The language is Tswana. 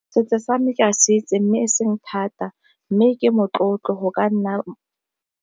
Setso same ke a se itse mme e seng thata, mme ke motlotlo go ka nna.